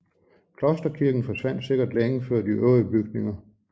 Klosterkirken forsvandt sikkert længe før de øvrige bygninger